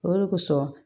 O de kosɔn